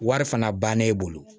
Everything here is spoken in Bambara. Wari fana bann'e bolo